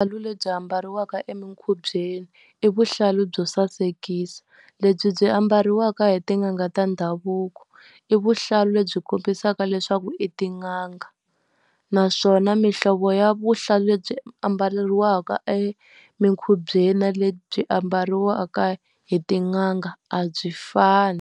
lebyi ambariwaka emikhubyeni i vuhlalu byo sasekisa, lebyi byi ambariwaka hi tin'anga ta ndhavuko, i vuhlalu lebyi kombisaka leswaku i tin'anga. Naswona mihlovo ya vuhlalu lebyi ambariwaka eminkhubyeni na lebyi byi ambariwaka hi tin'anga a byi fani.